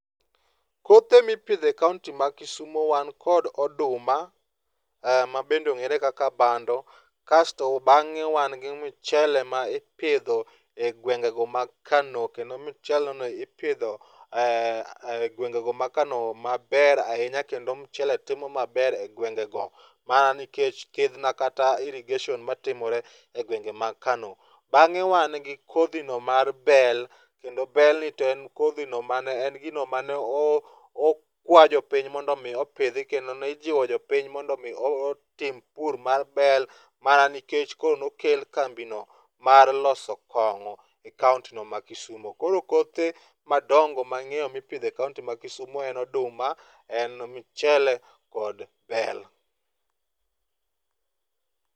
Kothe mipidho e kaonti ma Kisumo wan kod oduma mabende ong'ere kaka bando, kasto bang'e wan gi mchele ma ipidho e gwengego mag Kano kendo mcheleno ipidho e gwengego mag Kano maber ahinya kendo mchele timo maber e gwengego mana nikech thidhna kata irrigation matimore e gwengego mag Kano. Bang'e wan gi kodhino mar bel kendo belni to en kodhino mane en gino mane okwa jopiny mondo omi opidhi kendo ne ijiwo jopiny mondo omi otim pur mar bel mana nikech ko nokel kambino mar loso kong'o,e kaontino ma Kisumo. Koro kothe madongo mang'eyo mipidho e kaonti ma Kisumo en oduma, en mchele kod bel